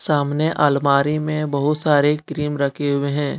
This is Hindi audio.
सामने अलमारी में बहुत सारी क्रीम रखे हुए हैं।